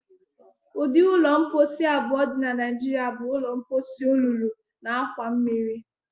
Ụdị ụlọ mposi abụọ dị na Naijiria bụ: ụlọ mposi olulu na akwa mmiri.